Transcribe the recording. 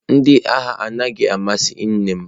Ndị agha anaghị amasị nnem.